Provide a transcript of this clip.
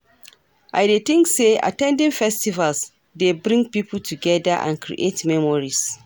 I dey think say at ten ding festivals dey bring people together and create memories.